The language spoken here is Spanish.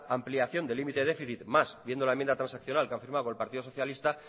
ampliación de límite de déficit más viendo la enmienda transaccional que han firmado con el partido socialista